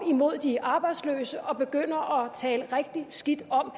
imod de arbejdsløse og begynder at tale rigtig skidt om